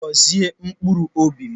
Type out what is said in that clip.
Gọzie mkpụrụ obi m.